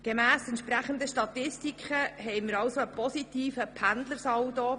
Gemäss Statistik haben wir einen positiven Pendlersaldo.